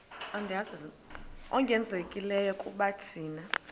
ongezelelekileyo kuba thina